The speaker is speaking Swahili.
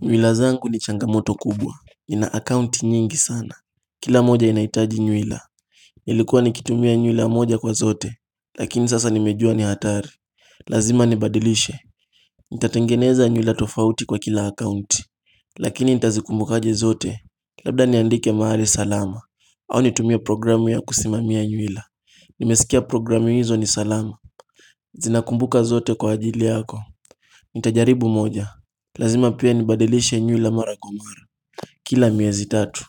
Nywila zangu ni changamoto kubwa, nina akaunti nyingi sana Kila moja inahitaji nywila Nilikuwa nikitumia nywila moja kwa zote, lakini sasa nimejua ni hatari Lazima nibadilishe Nitatengeneza nywila tofauti kwa kila akaunti Lakini nitazikumbukaje zote Labda niandike mahali salama au nitumie programu ya kusimamia nywila Nimesikia programu hizo ni salama Zinakumbuka zote kwa ajili yako Nitajaribu moja Lazima pia nibadilishe nywila mara kwa mara Kila miezi tatu